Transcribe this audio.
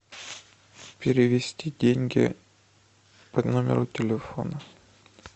перевести деньги по номеру телефона